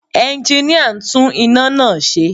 Ẹnginíà ń tún iná náà ṣe